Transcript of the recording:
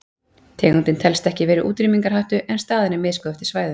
Tegundin telst ekki vera í útrýmingarhættu en staðan er misgóð eftir svæðum.